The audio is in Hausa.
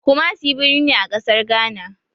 Kumasi birni ne a ƙasar Gana.